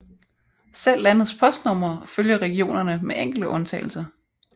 Selv landets postnumre følger regionerne med enkelte undtagelser